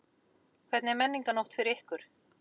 Hvernig er Menningarnótt fyrir ykkur?